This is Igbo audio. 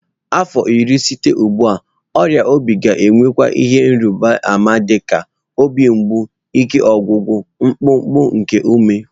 Afọ iri site ugbu a, ọrịa obi ga ka-enwe ihe ịrịba ama dị ka obi mgbu, ike ọgwụgwụ na mkpụmkpụ nke ume